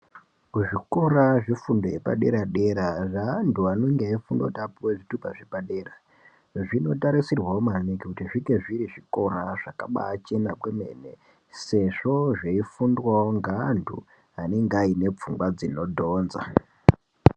Kuzvikora zvefundo yepadera-dera, zveantu anenge eifunda kuti apuwe zvitupa zvepadera, zvinotarisirwawo maningi kuti zvinge zviri zvikora zvakabaachena kwemene, sezvo zveifundwawo ngeantu anenge aine pfungwa dzinodhonza